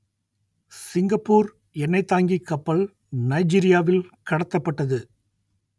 Singapore எண்ணெய்த் தாங்கிக் கப்பல் நைஜீரியாவில் கடத்தப்பட்டது